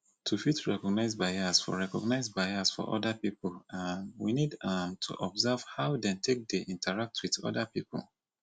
to fit recognize bias for recognize bias for oda pipo um we need um to observe how dem take dey interact with oda pipo